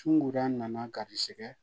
Sunguda nana garisigɛ